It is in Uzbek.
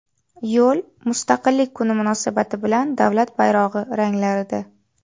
Yo‘l Mustaqillik kuni munosabati bilan davlat bayrog‘i ranglarida.